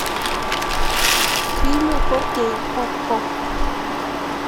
фильмы фор кей окко